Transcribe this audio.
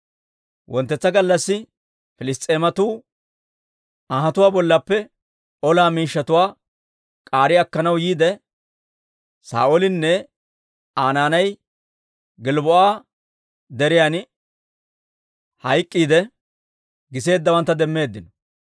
Wonttetsa gallassi Piliss's'eematuu anhatuwaa bollaappe olaa miishshatuwaa k'aari akkanaw yiide, Saa'oolinne Aa naanay Gilbboo'a Deriyan hayk'k'iidde, giseeddawantta demmeeddino.